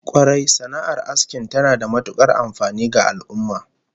Kwarai, sana'ar asking tana da matukar amfani ga al'ummah